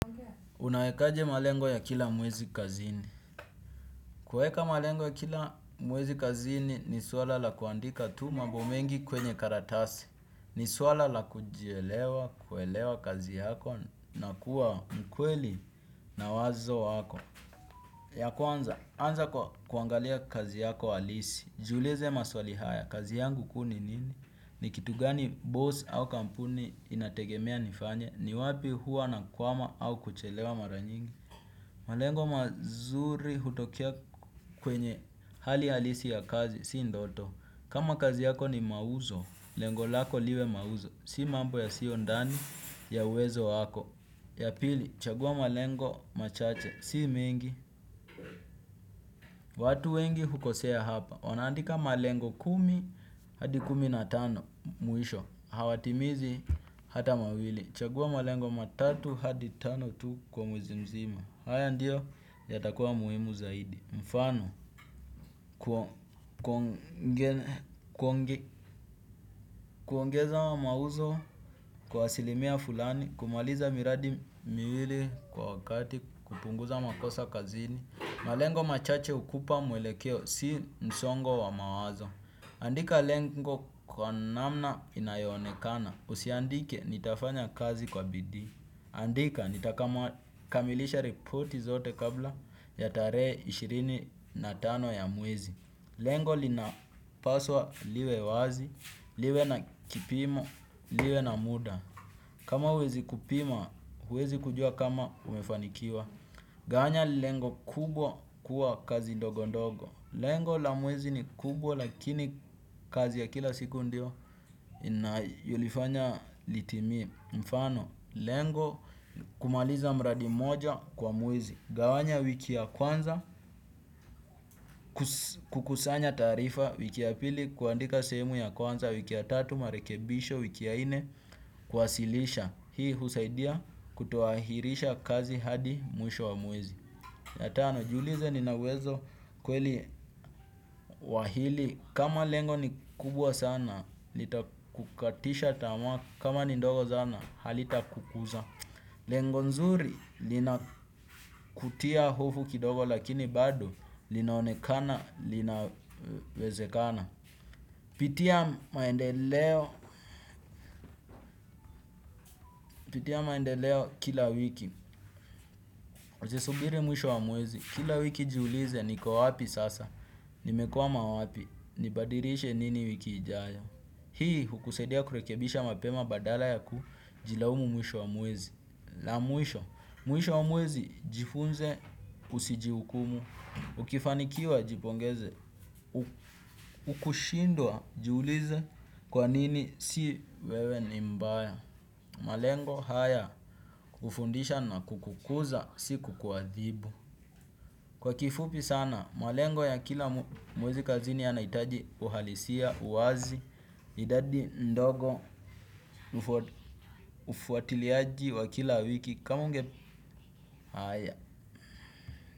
Unaekaje malengo ya kila mwezi kazini. Kuweka malengo ya kila mwezi kazini ni swala la kuandika tu mambo mengi kwenye karatasi. Ni swala la kujielewa, kuelewa kazi yako na kuwa mkweli na wazo wako. Ya kwanza, anza kuangalia kazi yako halisi. Jiuleze maswali haya, kazi yangu kuu ni nini? Ni kitu gani boss au kampuni inategemea nifanye? Ni wapi huwa na kwama au kuchelewa mara nyingi? Malengo mazuri hutokea kwenye hali halisi ya kazi, sii ndoto. Kama kazi yako ni mauzo, lengo lako liwe mauzo. Sii mambo yasiyo ndani ya uwezo wako. Ya pili, chagua malengo machache, sii mengi. Watu wengi hukosea hapa. Wanaandika malengo kumi, hadi kumi na tano mwisho. Hawatimizi hata mawili. Chagua malengo matatu hadi tano tu kwa mwezi mzima. Haya ndiyo yatakuwa muhimu zaidi. Mfano kuongeza mauzo kwa asilimia fulani kumaliza miradi miwili kwa wakati kupunguza makosa kazini malengo machache ukupa mwelekeo si msongo wa mawazo. Andika lengo kwa namna inayonekana. Usiandike nitafanya kazi kwa bidii. Andika, nitakamilisha ripoti zote kabla ya tarehe ishirini na tano ya mwezi. Lengo linapaswa liwe wazi, liwe na kipimo, liwe na muda. Kama uwezi kupima, uwezi kujua kama umefanikiwa. Gawanya lengo kubwa kuwa kazi ndogo ndogo. Lengo la mwezi ni kubwa lakini kazi ya kila siku ndio ulifanya litimie. Mfano lengo kumaliza mradi moja kwa mwezi. Gawanya wiki ya kwanza kukusanya taarifa wiki ya pili kuandika sehemu ya kwanza wiki ya tatu marekebisho wiki ya nne kuwasilisha. Hii husaidia kutoahirisha kazi hadi mwisho wa mwezi. Ya tano jiulize nina uwezo kweli wa hili. Kama lengo ni kubwa sana litakukatisha tamaa kama ni ndogo zana halita kukuza. Lengo nzuri lina kutia hofu kidogo lakini bado linaonekana linawezekana. Pitia maendeleo kila wiki. Usisubiri mwisho wa mwezi kila wiki jiulize niko wapi sasa. Nimekwama wapi nibadirishe nini wiki ijayo. Hii hukusaidia kurekebisha mapema badala ya kujilaumu mwisho wa mwezi. La mwisho, mwisho wa mwezi jifunze usijiukumu. Ukifanikiwa jipongeze, ukushindwa jiulize kwa nini si wewe ni mbaya. Malengo haya ufundisha na kukukuza si kukuathibu. Kwa kifupi sana, malengo ya kila mwezi kazini yanaitaji uhalisia, uwazi, idadi ndogo, ufuatiliaji wa kila wiki kama unge haya.